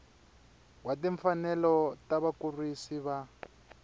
wa timfanelo ta vakurisi va